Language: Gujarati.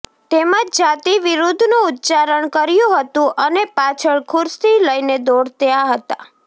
તેમજ જાતિ વિરુદ્ધનું ઉચ્ચારણ કર્યું હતુ અને પાછળ ખુરશી લઈને દોડયા હતા